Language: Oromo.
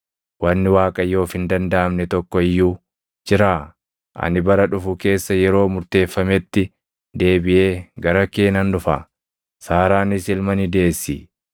Wanni Waaqayyoof hin dandaʼamne tokko iyyuu jiraa? Ani bara dhufu keessa yeroo murteeffametti deebiʼee gara kee nan dhufa; Saaraanis ilma ni deessi.”